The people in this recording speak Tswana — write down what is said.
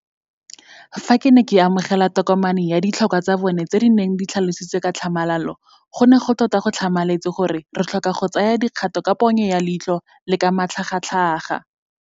Fa ke ne ke amogela tokomane ya ditlhokwa tsa bona tse di neng di tlhalositswe ka tlhamalalo, go ne tota go tlhamaletse gore re tlhoka go tsaya dikgato ka ponyo ya leitlho le ka matlhagatlhaga.